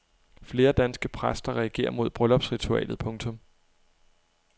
Flere danske præster reagerer mod bryllupsritualet. punktum